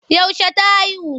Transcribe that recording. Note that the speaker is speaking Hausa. Yaushe ta haihu?